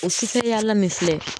O sufɛyala min filɛ